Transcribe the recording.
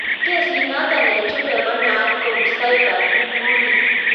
Kesiit notok eng chumbeek konaat kou cyber bulling